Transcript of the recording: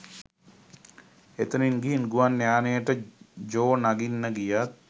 එතනින් ගිහින් ගුවන් යානයට ජෝ නගින්න ගියත්